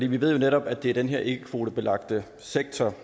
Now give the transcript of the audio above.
vi ved jo netop at det er den her ikkekvotebelagte sektor